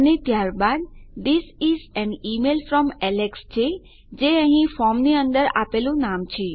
અને ત્યારબાદ આપણી પાસે this is an email from Alex છે જે અહીં ફોર્મની અંદર આપેલું નામ છે